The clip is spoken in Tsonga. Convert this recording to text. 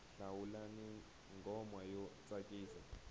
hlawulani nghoma yo tsakisa